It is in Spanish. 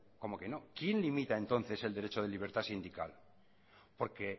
como que no quién limita entonces el derecho de libertad sindical porque